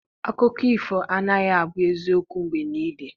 Akụkọ ifo anaghị abụ eziokwu mgbe niile